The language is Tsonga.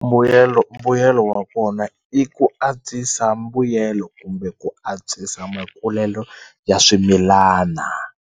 Mbuyelo mbuyelo wa kona i ku antswisa mbuyelo kumbe ku antswisa makulelo ya swimilana.